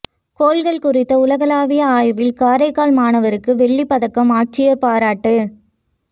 கோள்கள் குறித்த உலகளாவிய ஆய்வில் காரைக்கால் மாணவருக்கு வெள்ளிப் பதக்கம் ஆட்சியா் பாராட்டு